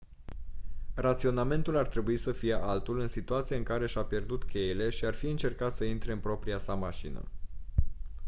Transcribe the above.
raționamentul ar trebui să fie altul în situația în care și-a pierdut cheile și ar fi încercat să intre în propria sa mașină